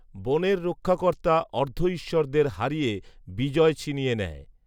বনের রক্ষাকর্তা অর্ধঈশ্বরদের হারিয়ে বিজয় ছিনিয়ে নেয়